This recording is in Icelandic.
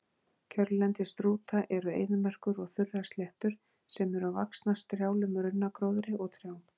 Kjörlendi strúta eru eyðimerkur og þurrar sléttur sem eru vaxnar strjálum runnagróðri og trjám.